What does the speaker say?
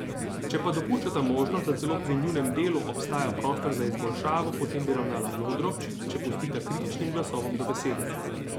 Če pa dopuščata možnost, da celo pri njunem delu obstaja prostor za izboljšavo, potem bi ravnala modro, če pustita kritičnim glasovom do besede.